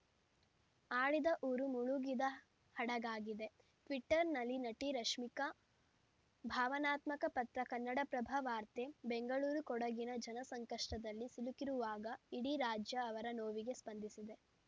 ಆಡಿದ ಊರು ಮುಳುಗಿದ ಹಡಗಾಗಿದೆ ಟ್ವೀಟರ್‌ನಲ್ಲಿ ನಟಿ ರಶ್ಮಿಕಾ ಭಾವನಾತ್ಮಕ ಪತ್ರ ಕನ್ನಡಪ್ರಭ ವಾರ್ತೆ ಬೆಂಗಳೂರು ಕೊಡಗಿನ ಜನ ಸಂಕಷ್ಟದಲ್ಲಿ ಸಿಲುಕಿರುವಾಗ ಇಡೀ ರಾಜ್ಯ ಅವರ ನೋವಿಗೆ ಸ್ಪಂದಿಸಿದೆ